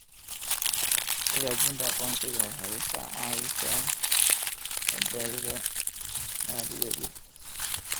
Xaqiijinta aqoonsiga waxay ka caawisaa badbaadada maaliyadeed.